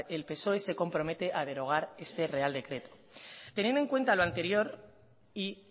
el psoe se compromete a derogar este real decreto teniendo en cuenta lo anterior y